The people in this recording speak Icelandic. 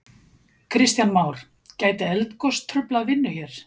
Kristján Már: Gæti eldgos truflað vinnu hér?